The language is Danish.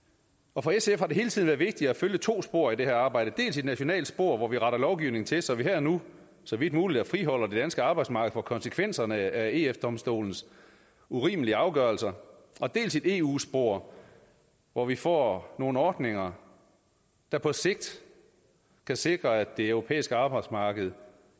og for sf har det hele tiden været vigtigt at følge to spor i det her arbejde dels et nationalt spor hvor vi retter lovgivningen til så vi her og nu så vidt muligt friholder det danske arbejdsmarked fra konsekvenserne af eu domstolens urimelige afgørelser og dels et eu spor hvor vi får nogle ordninger der på sigt kan sikre at det europæiske arbejdsmarked